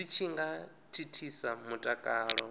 zwi tshi nga thithisa mutakalo